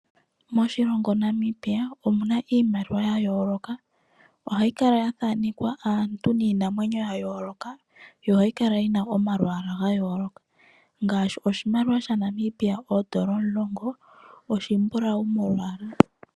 Moshilongo shetu Namibia omuna iimaliwa yayooloka, ohayikala lyathaanekwa aantu niinamwenyo yayoloka, yo oha yikala yina omalwaala gayoloka ngaashi oshimaliwa shaNamibia oondola omulongo oshimbulawu molwaala.